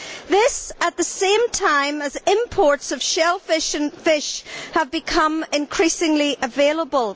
This at the same time as imports of shellfish and fish have become increasingly available.